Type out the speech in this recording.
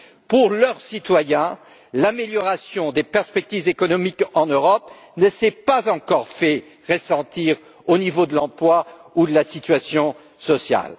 Pour leurs citoyens, l'amélioration des perspectives économiques en Europe ne s'est pas encore fait ressentir au niveau de l'emploi ou de la situation sociale.